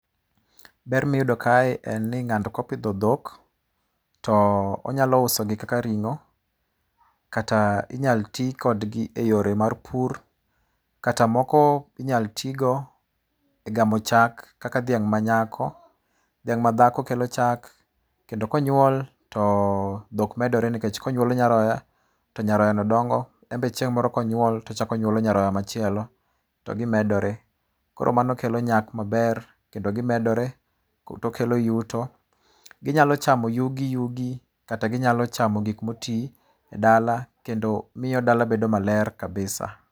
Ber miyudo kae ni ng'ato kopidho dhok to onyalo uso gi kaka ringo kata inyalo ti kodgi eyo mar pur kata moko inyalo ti go e gamo chak kaka dhiang manyako kelo chak kendo konyuol to dhok medore nikech konyuolo nyaroya, to nyaroya no dongo en bende chieng' moro konyuol to chako nyuolo nyaroya machielo to gi medore koro mano kelo nyak maber kendo gimedore to kelo yudo, ginyalo chamo yugi yugi kata ginyalo chamo gik moti e dala kendo miyo dala bedo maler kabisa